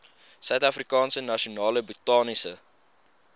suidafrikaanse nasionale botaniese